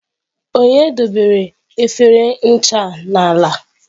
Onye debere efere ncha a n'ala?